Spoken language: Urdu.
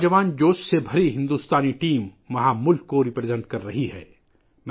نوجوانوں کے جوش سے بھرپور بھارتی ٹیم وہاں ملک کی نمائندگی کر رہی ہے